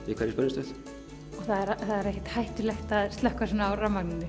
í hverri spennistöð og það er ekkert hættulegt að slökkva svona á rafmagninu